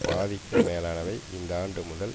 பாதிக்கும் மேலானவை இந்த ஆண்டு முதல்